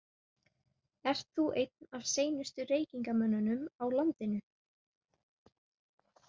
Ert þú einn af seinustu reykingamönnunum á landinu?